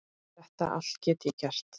Þetta allt get ég gert.